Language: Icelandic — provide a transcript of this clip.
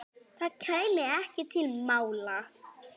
Það kæmi ekki til mála.